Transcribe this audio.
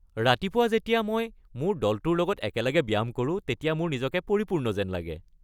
ৰাতিপুৱা যেতিয়া মই মোৰ দলটোৰ লগত একেলগে ব্যায়াম কৰোঁ তেতিয়া মোৰ নিজকে পৰিপূৰ্ণ যেন লাগে।